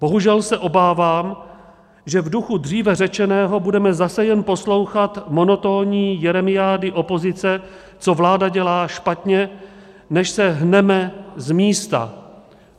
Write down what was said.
Bohužel se obávám, že v duchu dříve řečeného budeme zase jen poslouchat monotónní jeremiády opozice, co vláda dělá špatně, než se hneme z místa.